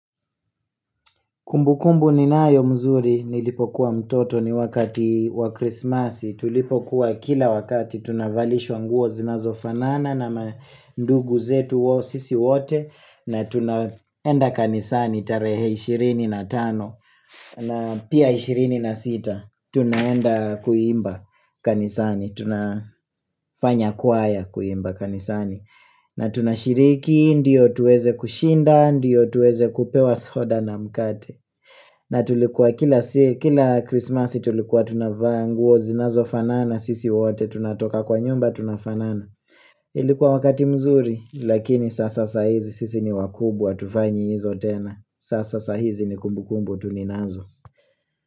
Kumbukumbu ninayo mzuri nilipokuwa mtoto ni wakati wa krismasi tulipokuwa kila wakati tunavalishwa nguo zinazofanana na mandugu zetu wo sisi wote na tunaenda kanisani tarehe 25 na pia 26 tunaenda kuimba kanisani tunafanya kwaya kuimba kanisani na tunashiriki, ndiyo tuweze kushinda, ndiyo tuweze kupewa soda na mkate na tulikuwa kila krismasi tulikuwa tunavaa nguo zinazofanana sisi wote tunatoka kwa nyumba tunafanana Ilikuwa wakati mzuri lakini sasa saa hizi sisi ni wakubwa hatufanyi hizo tena Sasa saa hizi ni kumbukumbu tu ninazo.